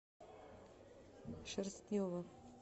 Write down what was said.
шерстнева